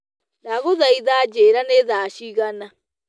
ndagũthaĩtha njĩĩra ni thaa cĩĩgana